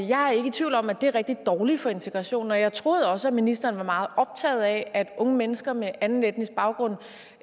jeg er ikke i tvivl om at det er rigtig dårligt for integrationen og jeg troede også at ministeren var meget optaget af at unge mennesker med anden etnisk baggrund